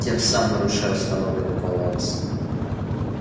тем самым нарушая установленный баланс